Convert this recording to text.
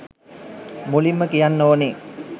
මුලින්ම කියන්න ඕනේ